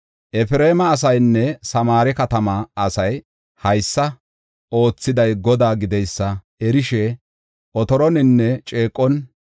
Efreema asayinne Samaare katamaa asay haysa oothiday Godaa gideysa erishe, otoroninne ceeqon,